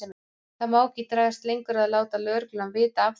Það má ekki dragast lengur að láta lögregluna vita af þeim.